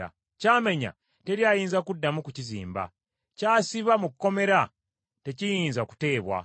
Ky’amenya teri ayinza kuddamu kukizimba; ky’asiba mu kkomera tekiyinza kuteebwa.